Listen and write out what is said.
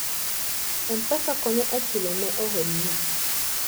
M-Pesa konyo e chulo ne ohelni.